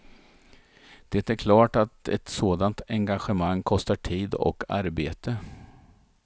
Det är klart att ett sådant engagemang kostar tid och arbete.